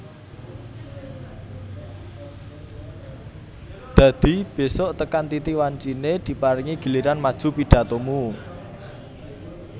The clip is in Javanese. Dadi besuk tekan titi wancine diparingi giliran maju pidhatomu